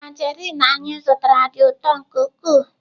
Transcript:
Tanjerịn anyị zụtara dị ụtọ nke ukwuu.